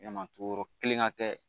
Yalama tugu yɔrɔ kelen ŋa kɛ